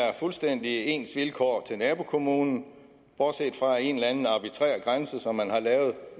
har fuldstændig ens vilkår med nabokommunen bortset fra en eller anden arbitrær grænse som man har lavet